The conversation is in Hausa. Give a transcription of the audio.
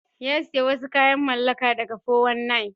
Ya sayi wasu kayan mallaka daga 419.